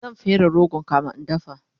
zan fere rogon kamin in dafa